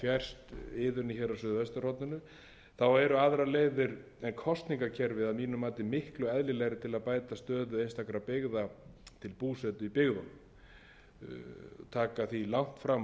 fjærst iðunni á suðvesturhorninu þá eru aðrar leiðir en kosningakerfið að mínu mati miklu eðlilegri til að bæta stöðu einstakra byggða til búsetu í byggðunum taka því langt fram það á vel vera að færa hefði mátt fyrir þessi rök fyrir áratugum